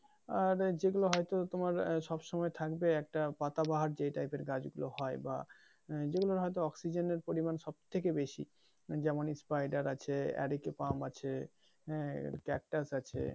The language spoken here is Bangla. আর যেগুলো হয়তো তোমার সব সময় থাকবে একটা পাতা বাহার যে টাইপের গাছ গুলা হয় বা যেগুলোর হয়তো অক্সিজেনের পরিমান সবথেকে বেশি মানি যেমন স্পাইডার আছে এরিকা পাম আছে হ্যাঁ ক্যাকটাস আছে